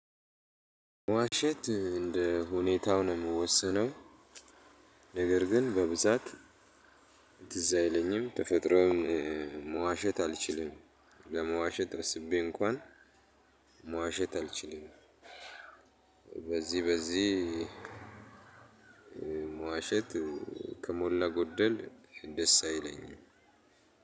ዋሸንት እንደ ሁኔታው ነው የሚወሰነው። ነገር ግን በብዛት። ትዝ አይለኝም ተፈጥሮን መዋሸት አልችልም። ለመዋሸት አስቤ እንኳን መዋሸት አልችልም። በዚህ በዚህ መዋሸት ከሞላ ጎደል ደስ አይለኝም።